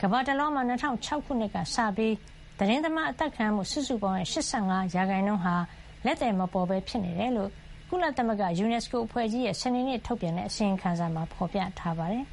ကမ္ဘာတလွှားမှာ ၂၀၀၆ ခုနှစ်ကစပြီး သတင်းသမားအသတ်ခံရမှု စုစုပေါင်းရဲ့ ၈၅ % ဟာ လက်သည် မပေါ်ပဲ ဖြစ်နေတယ်လို့ ကုလသမဂ္ဂ UNESCO အဖွဲ့ကြီးရဲ့ စနေနေ့ ထုတ်ပြန်တဲ့ အစီရင်ခံစာမှာ ဖော်ပြထားပါတယ်